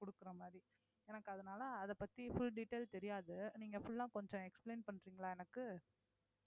குடுக்கறமாதிரி எனக்கு அதனால அதைப்பத்தி full detail தெரியாது நீங்க full ஆ கொஞ்சம் explain பண்றீங்களா எனக்கு